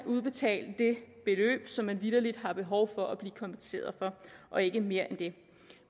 udbetalt som man vitterlig har behov for at blive kompenseret for ikke mere end det